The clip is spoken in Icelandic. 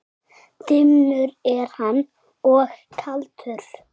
Dimmur er hann og kaldur.